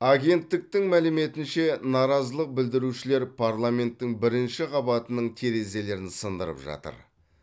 агенттіктің мәліметінше наразылық білдірушілер парламенттің бірінші қабатының терезелерін сындырып жатыр